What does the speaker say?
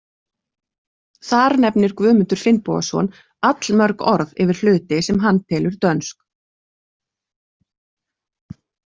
Þar nefnir Guðmundur Finnbogason allmörg orð yfir hluti sem hann telur dönsk.